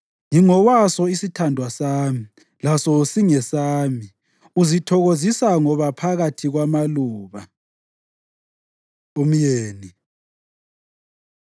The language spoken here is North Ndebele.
Ngingowaso isithandwa sami, laso singesami; uzithokozisa ngoba phakathi kwamaluba. Umyeni